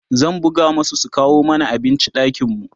zan buga masu su kawo mana abinci ɗakin mu